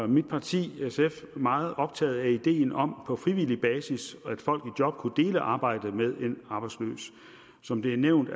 mit parti sf meget optaget af ideen om at på frivillig basis kunne dele arbejdet med en arbejdsløs som det er nævnt